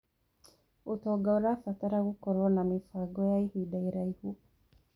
ũtonga ũrabatara gũkorwo na mĩbango ya ihinda iraihu.